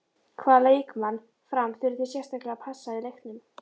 Hvaða leikmann Fram þurfið þið sérstaklega að passa í leiknum?